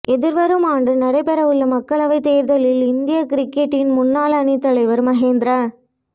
எதிர்வரும் ஆண்டு நடைபெறவுள்ள மக்களவைத் தேர்தலில் இந்திய கிரிக்கெட்டின் முன்னாள் அணித்தலைவர் மகேந்திர